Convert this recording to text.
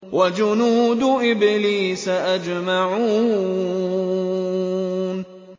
وَجُنُودُ إِبْلِيسَ أَجْمَعُونَ